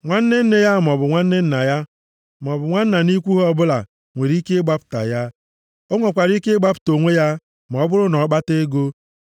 Nwanne nne ya, maọbụ nwanne nna ya, maọbụ nwanna nʼikwu ha + 25:49 Nwanna Onye ahụ ga-abụ nwa nwoke nwanne nna ya. ọbụla nwere ike ịgbapụta ya. Ọ nwekwara ike ịgbapụta onwe ya ma ọ bụrụ na ọ kpata ego.